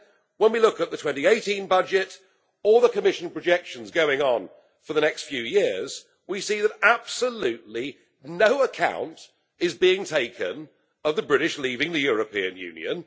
And yet, when we look at the 2018 budget or the Commission projections for the next few years, we see that absolutely no account is being taken of the British leaving the European Union.